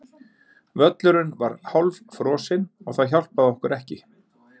Völlurinn var hálffrosinn og það hjálpaði okkur ekki.